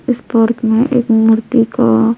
इस पार्क में एक मूर्ति का।